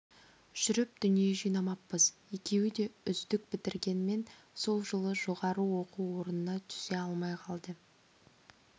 жүріп дүние жинамаппыз екеуі де үздік бітіргенмен сол жылы жоғары оқу орнына түсе алмай қалды